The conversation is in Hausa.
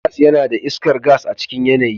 Gas yana da iskar gas a cikin yanayi.